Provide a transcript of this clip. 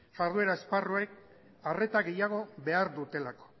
jarduera esparruek arreta gehiago behar dutelako